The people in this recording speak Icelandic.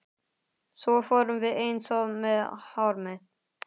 Svo fórum við eins að með hár mitt.